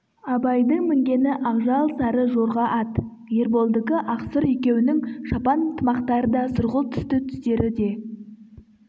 абайдың мінгені ақжал сары жорға ат ерболдікі ақ-сұр екеуінің шапан тымақтары да сұрғылт түсті түстері де